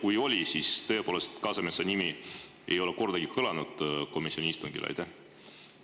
Ja kui oli, siis kas tõepoolest Kasemetsa nimi ei kõlanud komisjoni istungil kordagi?